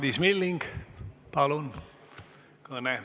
Madis Milling, palun, kõne!